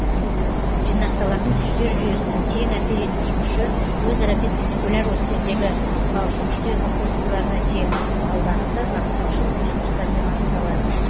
жинақталатын күштер жүйесінің тең әсер етуші күші өзара перпендикуляр осьтердегі кұраушы күштердің қосындыларына тең ал бағыты бағыттаушы косинустармен анықталады